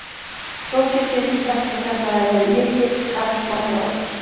Þó get ég ekki sagt að þetta hafi verið mikið kappsmál hjá okkur.